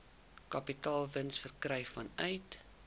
kapitaalwins verkry vanuit